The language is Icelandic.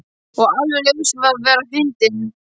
Og alveg laus við að vera fyndinn.